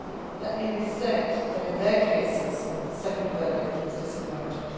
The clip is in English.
Let me restate that in their cases, the second verdict was disappointing.